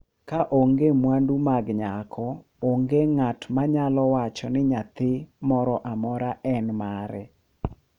Ka onge mwandu mag nyako, onge ng’at ma nyalo wacho ni nyathi moro amora en mare.